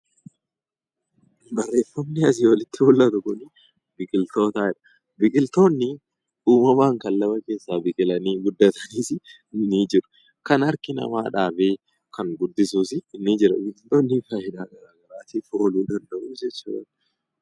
Barreeffamni asii olitti mul'atu kun biqiltoota jedha. Biqiltoonni uumamaan biqilanii fi kan biqilanii guddatan ni jiru. Dhala namaatiif fayidaa garaagaraaf ooluu danda'uu danda'u jechuudha.